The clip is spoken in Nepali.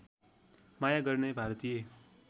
माया गर्ने भारतीय